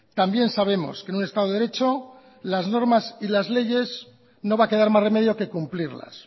también sabemos que en un estado de derecho las normas y las leyes no va a quedar más remedio que cumplirlas